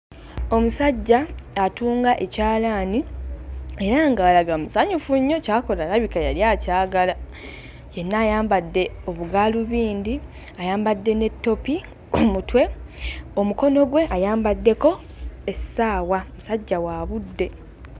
Omusajja atunga ekyalaani era ng'alaga musanyufu nnyo ky'akola alabika yali akyagala yenna ayambadde obugaalubindi ayambedde ne ttopi omutwe omukono gwe ayambaddeko essaawa musajja wa budde.